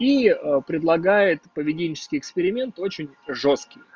и предлагает поведенческий эксперимент очень жёсткий